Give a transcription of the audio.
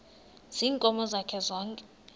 ziinkomo zakhe zonke